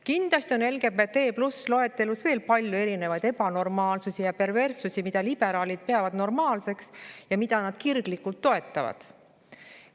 Kindlasti on LGBT+ loetelus veel palju erinevaid ebanormaalsusi ja perverssusi, mida liberaalid peavad normaalseks ja mida nad kirglikult toetavad.